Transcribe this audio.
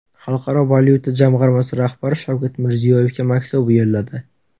Xalqaro valyuta jamg‘armasi rahbari Shavkat Mirziyoyevga maktub yo‘lladi.